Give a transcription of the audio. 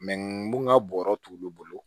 mun ka bɔrɔ t'olu bolo